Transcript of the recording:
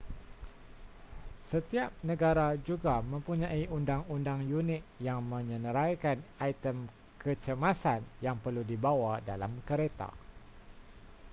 setiap negara juga mempunyai undang-undang unik yang menyenaraikan item kecemasan yang perlu dibawa dalam kereta